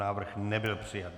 Návrh nebyl přijat.